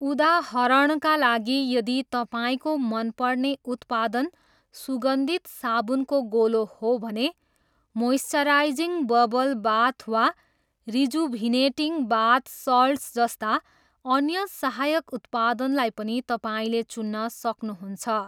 उदाहरणका लागि यदि तपाईँको मन पर्ने उत्पादन सुगन्धित साबुनको गोलो हो भने मोइस्चराइजिङ बबल बाथ वा रिजुभिनेटिङ बाथ सल्ट्स जस्ता अन्य सहायक उत्पादनलाई पनि तपाईँले चुन्न सक्नुहुन्छ।